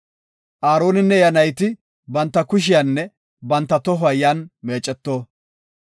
Aaroninne iya nayti banta kushiyanne banta tohuwa yan meeceto.